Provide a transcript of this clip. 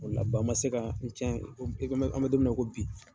O la ba ma se ka n tiɲɛ i ko an bɛ domina i ko bi.